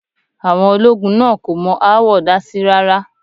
Àwọn ológun náà kò mọ aáwọ̀ dásí rá́rá.